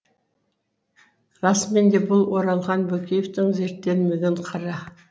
расымен де бұл оралхан бөкеевтің зерттелмеген қыры